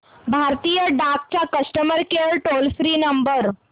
भारतीय डाक चा customer care toll free number